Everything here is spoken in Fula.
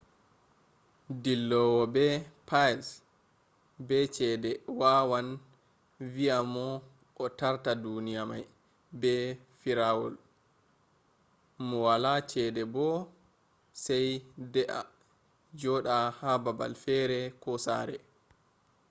dillowo be piles be cede wawan be vi`a mo o tarta duniya mai be firawaul mu wala cede bo sai dea juda ha babal fere ko sare